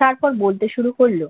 তারপর বলতে শুরু করল